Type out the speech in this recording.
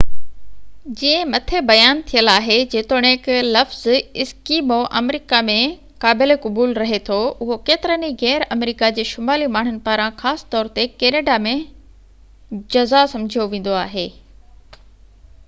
جيئن مٿي بيان ٿيل آهي جيتوڻيڪ لفظ ايسڪيمو آمريڪا ۾ قابل قبول رهي ٿو اهو ڪيترن ئي غير امريڪا جي شمالي ماڻهن پاران خاص طور تي ڪئناڊا ۾ جزا سمجهيو ويندو آهي